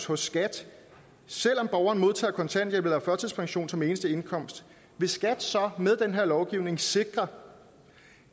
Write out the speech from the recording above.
hos skat selv om borgeren modtager kontanthjælp eller førtidspension som eneste indkomst vil skat så med den her lovgivning sikre